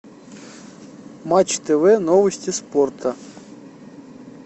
матч тв новости спорта